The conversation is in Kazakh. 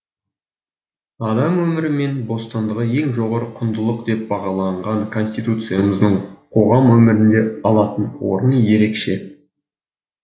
адам өмірі мен бостандығы ең жоғары құндылық деп бағаланған конституциямыздың қоғам өмірінде алатын орны ерекше